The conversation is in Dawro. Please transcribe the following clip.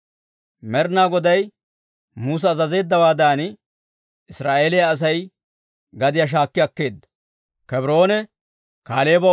Med'ina Goday Musa azazeeddawaadan, Israa'eeliyaa Asay gadiyaa shaakki akkeedda.